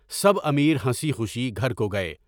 سب امیر ہنسی خوشی گھر کو گئے۔